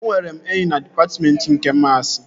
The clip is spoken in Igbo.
Enwere m enyi na dịpatmentị nke maasi